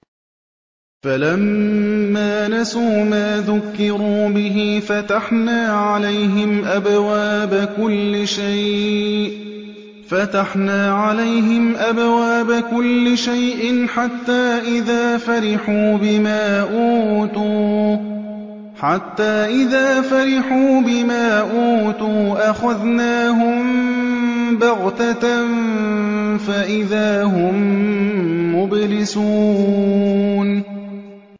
فَلَمَّا نَسُوا مَا ذُكِّرُوا بِهِ فَتَحْنَا عَلَيْهِمْ أَبْوَابَ كُلِّ شَيْءٍ حَتَّىٰ إِذَا فَرِحُوا بِمَا أُوتُوا أَخَذْنَاهُم بَغْتَةً فَإِذَا هُم مُّبْلِسُونَ